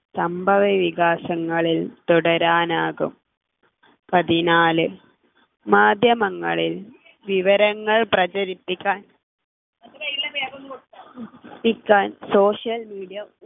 സംഭവവികാസങ്ങളിൽ തുടരാനാകും പതിനാല് മാധ്യമങ്ങളിൽ വിവരങ്ങൾ പ്രചരിപ്പിക്കാൻ പ്പിക്കാൻ social media